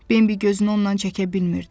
Bembi gözünü ondan çəkə bilmirdi.